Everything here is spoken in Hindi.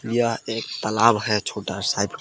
यह एक तालाब है छोटा साइब का।